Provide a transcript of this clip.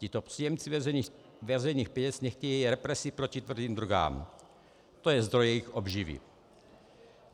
Tito příjemci veřejných peněz nechtějí represi proti tvrdým drogám, to je zdroj jejich obživy.